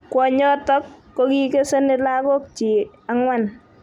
kwonyotok ko kikikeseni lagokyik ang'wan.